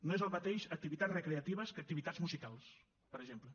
no és el mateix activitats recreatives que activitats musicals per exemple